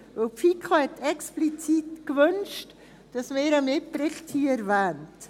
Denn die FiKo hat explizit gewünscht, dass man ihren Mitbericht hier erwähnt.